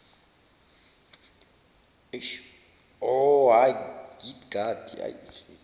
horhagidgadi